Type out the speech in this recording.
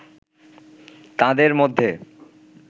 তাঁদের মধ্যে